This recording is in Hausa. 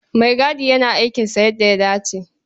Maigadi yana aikinsa yadda ya dace.